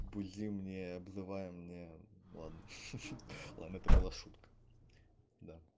будем не обзывай мне это была шутка